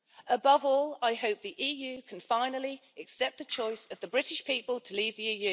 Above all, I hope the EU can finally accept the choice of the British people to leave the EU.